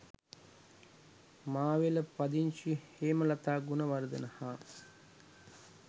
මාවෙල පදිංචි හේමලතා ගුණවර්ධන හා